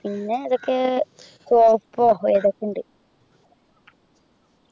പിന്നെ ഇതൊക്കെ ഏതൊക്കെയുണ്ട്